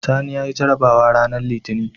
Sani yayi jarabawa ranar litinin